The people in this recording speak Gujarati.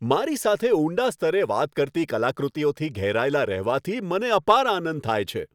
મારી સાથે ઊંડા સ્તરે વાત કરતી કલાકૃતિઓથી ઘેરાયેલા રહેવાથી મને અપાર આનંદ થાય છે.